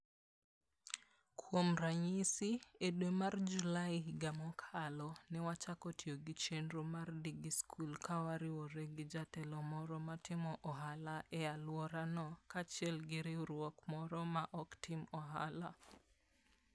Kuom ranyisi, e dwe mar Julai higa mokalo, ne wachako tiyo gi chenro mar DigiSchool ka wariwore gi jatelo moro matimo ohala e alworano kaachiel gi riwruok moro ma ok tim ohala.